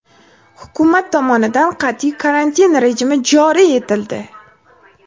Hukumat tomonidan qat’iy karantin rejimi joriy etildi.